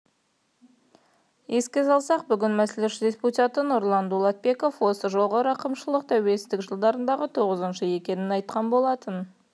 еске салсақ бүгін мәжіліс депутаты нұрлан дулатбеков осы жолғы рақымшылық тәуелсіздік жылдарындағы тоғызыншысы екенін айтқан болатын